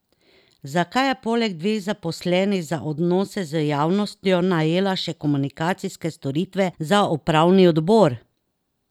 Zakaj je poleg dveh zaposlenih za odnose z javnostjo najela še komunikacijske storitve za upravni odbor?